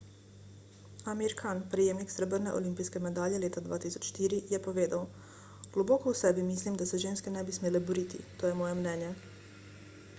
amir khan prejemnik srebrne olimpijske medalje leta 2004 je povedal globoko v sebi mislim da se ženske ne bi smele boriti to je moje mnenje